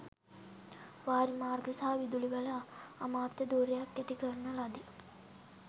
වාරිමාර්ග සහ විදුලි බල අමාත්‍ය ධුරයක් ඇති කරන ලදී